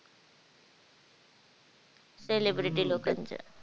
Celebrity लोकांच